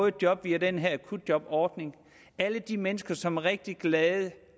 et job via den her akutjobordning alle de mennesker som er rigtig glade